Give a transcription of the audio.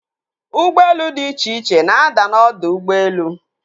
Ụgbọelu dị iche iche na-ada n'ọdọ ụgbọelu.